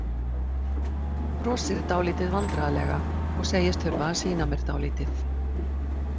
Brosir dálítið vandræðalega og segist þurfa að sýna mér dálítið.